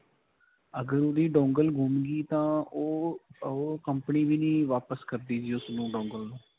ਅਗਰ ਓਹਦੀ dongle ਗੁਮ ਗਈ ਤਾਂ ਉਹ company ਵੀ ਨਹੀਂ ਵਾਪਸ ਕਰਦੀ ਜੀ ਉਸਨੂੰ dongle ਨੂੰ.